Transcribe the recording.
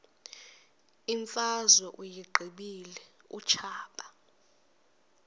imfazwe uyiqibile utshaba